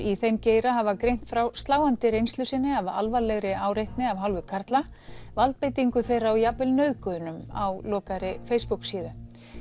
í þeim geira hafa greint frá sláandi reynslu sinni af alvarlegri áreitni af hálfu karla valdbeitingu þeirra og jafnvel nauðgunum á lokaðri Facebook síðu